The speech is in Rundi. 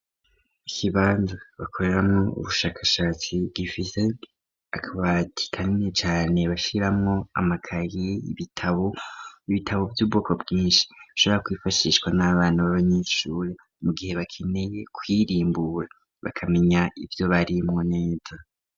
Ikibanza bakoreramwo ubushakashatsi gifize akabatikanne cane bashiramwo amakayie ibitabo ibitabo vy'ubwoko bwinshi bishabora kwifashishwa n'abantu babanyishure mu gihe bakeneye kwirimbura bakamenya ivyo barimwo neza.